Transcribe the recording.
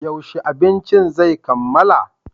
Yaushe abincin zai kammala?